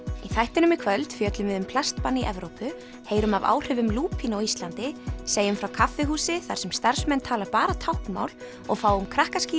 í þættinum í kvöld fjöllum við um plastbann í Evrópu heyrum af áhrifum lúpínu á Íslandi segjum frá kaffihúsi þar sem starfsmenn tala bara táknmál og fáum